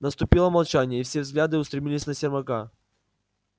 наступило молчание и все взгляды устремились на сермака